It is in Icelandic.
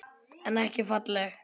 En ekki falleg.